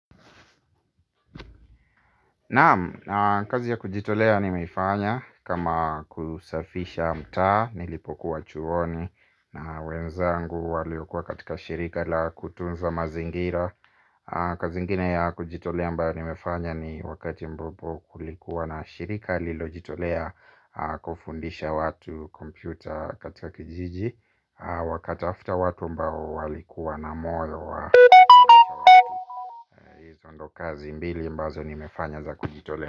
Naam, kazi ya kujitolea nimeifanya kama kusafisha mtaa nilipokuwa chuoni na wenzangu waliokuwa katika shirika la kutunza mazingira. Kazi ingine ya kujitolea ambayo nimefanya ni wakati ambapo kulikuwa na shirika lililojitolea kufundisha watu kompyuta katika kijiji. Wakatafuta watu ambao walikuwa na moyo wa ndo kazi mbili ambazo nimefanya za kujitolea.